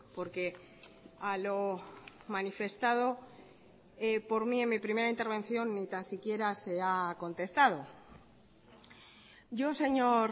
porque a lo manifestado por mí en mi primera intervención ni tan siquiera se ha contestado yo señor